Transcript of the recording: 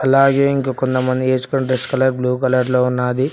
అలాగే ఇంకా కొంతమంది ఎసుకున్న డ్రెస్ కలర్ బ్లూ కలర్ లో ఉన్నాది.